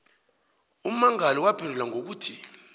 ummangali waphendula ngokuthi